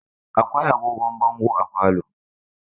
Akwai agogon bongo a falo.